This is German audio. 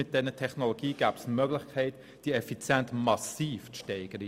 Mit dieser Technologie bestünde die Möglichkeit, diese Effizienz massiv zu steigen.